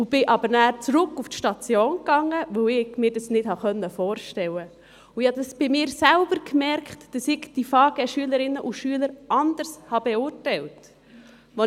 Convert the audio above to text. Ich ging nachher zurück auf die Station, weil ich mir dies nicht vorstellen konnte und merkte an mir selbst, dass ich die Schülerinnen Fachangestellte Gesundheit (FaGe) anders beurteilt habe.